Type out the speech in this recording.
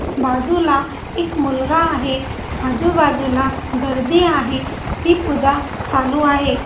बाजूला एक मुलगा आहे आजूबाजूला गर्दी आहे ती पूजा चालू आहे.